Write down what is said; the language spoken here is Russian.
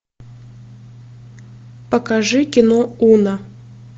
покажи кино уна